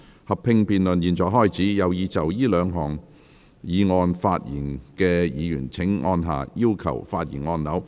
合併辯論現在開始，有意就這兩項議案發言的議員請按下"要求發言"按鈕。